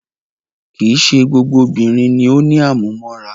Kìí ṣe gbogbo obìnrin ni o ní àmúmóra.